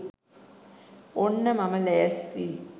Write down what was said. ඔන්න මම ලෑස්තියි